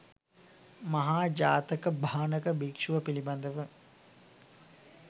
මහා ජාතක භාණක භික්‍ෂුව පිළිබඳව